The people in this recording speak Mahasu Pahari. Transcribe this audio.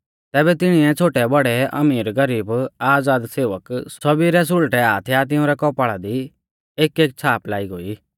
तैबै तिणिऐ छ़ोटेबौड़ै अमीरगरीब आज़ादसेवक सौभी रै सुल़टै हाथ या तिंउरै कौपाल़ा दी एकएक छ़ाप लाई गोई